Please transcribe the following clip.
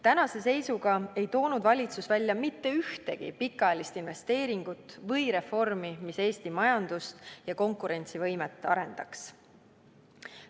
Tänase seisuga ei toonud valitsus välja mitte ühtegi pikaajalist investeeringut või reformi, mis Eesti majandust ja konkurentsivõimet arendaks.